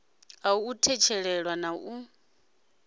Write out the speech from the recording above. ḽa u tshetshelesa na u